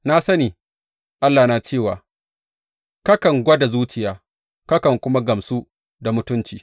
Na sani, Allahna, cewa kakan gwada zuciya, kakan kuma gamsu da mutunci.